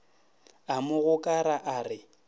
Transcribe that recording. a mo gokara a re